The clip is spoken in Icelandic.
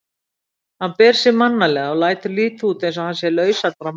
Hann ber sig mannalega og lætur líta út eins og hann sé laus allra mála.